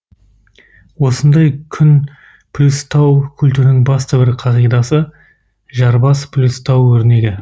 осындай күн плюстау культінің басты бір қағидасы жар бас плюс тау өрнегі